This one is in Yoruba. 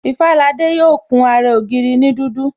Ifalade yo kun ara ògiri ni dudu